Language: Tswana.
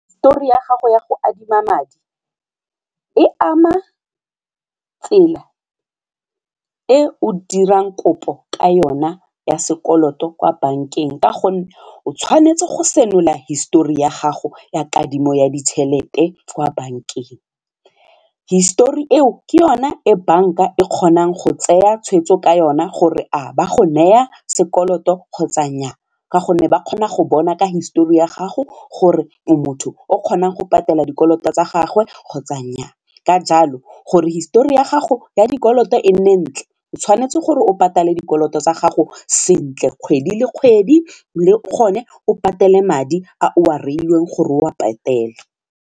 Hisetori ya gago ya go adima madi e ama tsela e o dirang kopo ka yona ya sekoloto kwa bankeng ka gonne o tshwanetse go senola hisetori ya gago ya kadimo ya ditšhelete kwa bankeng. Hisetori eo ke yone e bank a e kgonang go tsaya tshweetso ka yona gore a ba go neya sekoloto kgotsa nnyaa ka gonne ba kgona go bona ka hisetori ya gago gore motho o kgonang go patela dikoloto tsa gagwe kgotsa nnyaa, ka jalo gore hisetori ya gago ya dikoloto e nne ntle o tshwanetse gore o patale dikoloto tsa gago sentle kgwedi le kgwedi le gone o patele madi a o a reilweng gore o a patele.